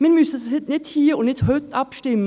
Wir müssen nicht hier und heute abstimmen.